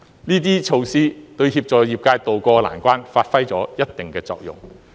這些措施，對協助業界渡過難關發揮了一定的作用。